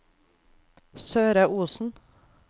Søre Osen